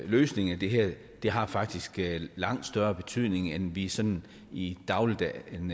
løsningen af det her faktisk har langt større betydning end vi sådan i dagligdagen